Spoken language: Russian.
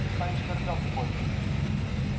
ты станешь королём лепольд